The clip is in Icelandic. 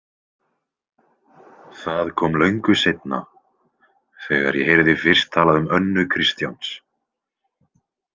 Það kom löngu seinna, þegar ég heyrði fyrst talað um Önnu Kristjáns.